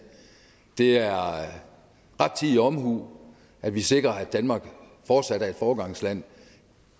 det er rettidig omhu at vi sikrer at danmark fortsat er et foregangsland